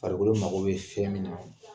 Farikolo mago be fɛn min na